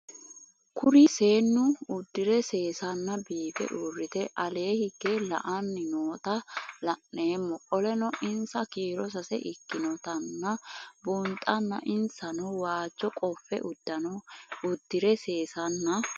Kuri seenu udire sesena biife urite ale hige la'ani noota la'nemo qoleno insa kiiro sase ikinotana bunxana insano waajo qofe udune udire sesena